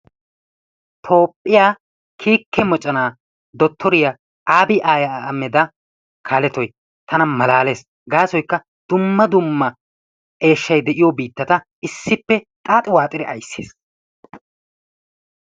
Toophiyaa kike moocona dottoriyaa abiy ahmeeda kalettoy tana malaalees. gasoykka dumma dumma eeshshay de'iyoo biittata issippe xaaxi waaxxidi ayssiis.